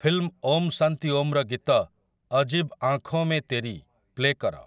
Film 'Om Shanti ଓମ୍'ର ଗୀତ 'ଅଜୀବ ଆଁଖୋଁ ମେଁ ତେରି' ପ୍ଲେ କର ।